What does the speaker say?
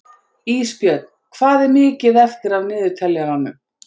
Ísbjörn, hvað er mikið eftir af niðurteljaranum?